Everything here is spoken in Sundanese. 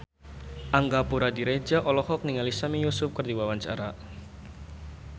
Angga Puradiredja olohok ningali Sami Yusuf keur diwawancara